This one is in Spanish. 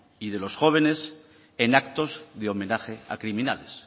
y de los jóvenes en actos de homenaje a criminales